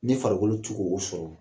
Ni farikolo tɛ ko o sɔrɔ